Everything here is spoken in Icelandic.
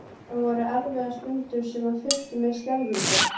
Það voru erfiðar stundir sem fylltu mig skelfingu.